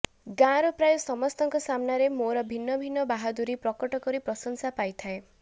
ଗାଁର ପ୍ରାୟ ସମସ୍ତଙ୍କ ସାମ୍ନାରେ ମୋର ଭିନ୍ନ ଭିନ୍ନ ବାହାଦୂରୀ ପ୍ରକଟ କରି ପ୍ରଶଂସା ପାଇଥାଏ